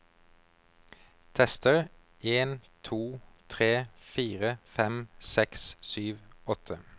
Tester en to tre fire fem seks sju åtte